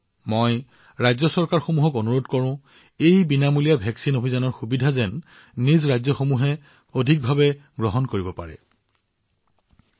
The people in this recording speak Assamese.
মই ৰাজ্যসমূহক ভাৰত চৰকাৰৰ এই বিনামূলীয়া প্ৰতিষেধক অভিযানৰ লাভালাভ যিমান পাৰি সিমান লোকক তেওঁলোকৰ ৰাজ্যত প্ৰদান কৰিবলৈও অনুৰোধ জনাইছো